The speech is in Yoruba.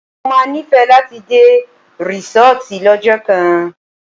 Mo má nífẹ̀ẹ́ láti dé rísọ́tì lọ́jọ́ kan.